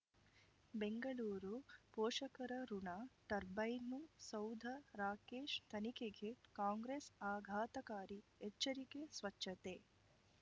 ಬೆಂಗಳೂರು ಪೋಷಕರಋಣ ಟರ್ಬೈನು ಸೌಧ ರಾಕೇಶ್ ತನಿಖೆಗೆ ಕಾಂಗ್ರೆಸ್ ಆಘಾತಕಾರಿ ಎಚ್ಚರಿಕೆ ಸ್ವಚ್ಛತೆ